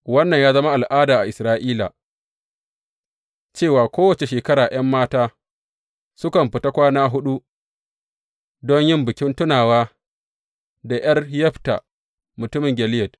Wannan ya zama al’ada a Isra’ila, cewa kowace shekara ’yan mata sukan fita kwana huɗu don yin bikin tunawa da ’yar Yefta mutumin Gileyad.